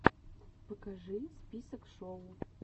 покажи список шоу